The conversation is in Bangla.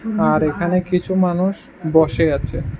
আর এখানে কিছু মানুষ বসে আছে--